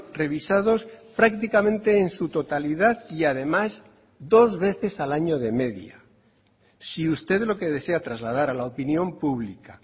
revisados prácticamente en su totalidad y además dos veces al año de media si usted lo que desea trasladar a la opinión pública